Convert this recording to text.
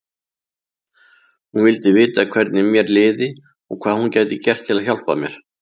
Hún vildi vita hvernig mér liði og hvað hún gæti gert til að hjálpa mér.